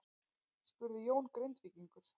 spurði Jón Grindvíkingur.